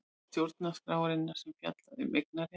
Stjórnarskrárinnar sem fjallar um eignarétt.